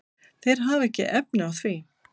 Þeir hafa ekki efni á því.